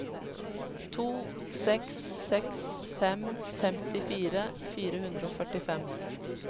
to seks seks fem femtifire fire hundre og førtifem